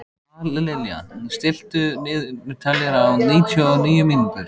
Dallilja, stilltu niðurteljara á níutíu og níu mínútur.